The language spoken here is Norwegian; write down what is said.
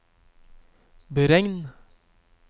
beregn